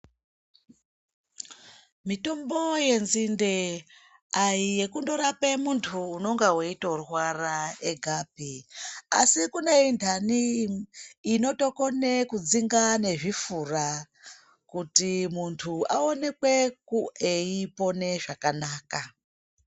Mitombo yenzinde ayi yekungorape muntu unenge eitorwarapi asi kune indani inotokone kudzinge nezvifura kuti muntu aonekwe eipona zvakanaka.